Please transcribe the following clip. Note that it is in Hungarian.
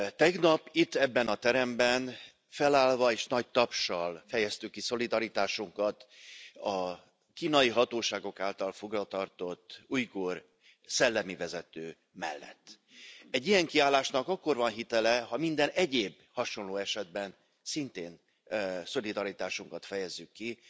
Tegnap itt, ebben a teremben felállva és nagy tapssal fejeztük ki szolidaritásukat a kínai hatóságok által fogvatartott ujgur szellemi vezető mellett. Egy ilyen kiállásnak akkor van hitele, ha minden egyéb, hasonló esetben szintén szolidaritásunkat fejezzük ki.